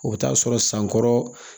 O bɛ taa sɔrɔ sankɔrɔ